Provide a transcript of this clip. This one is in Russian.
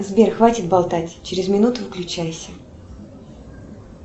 сбер хватит болтать через минуту выключайся